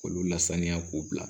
K'olu lasaniya k'u bila